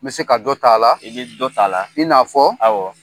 N bɛ se ka dɔ t'a la; I ni dɔ ta' la; I n'a fɔ; Awɔ!